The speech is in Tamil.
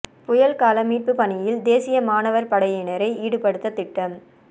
புயல் கால மீட்புப் பணியில் தேசிய மாணவா் படையினரை ஈடுபடுத்த திட்டம்